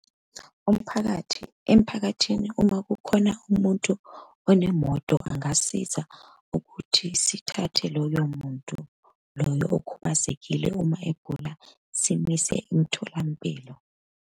Umphakathi, emphakathini uma kukhona umuntu onemoto angasiza ukuthi sithathe loyo muntu loyo okhubazekile uma egula, simise emtholampilo.